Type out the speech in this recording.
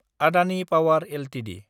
Adani power Ltd